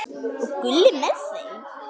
Og Gulli með þeim!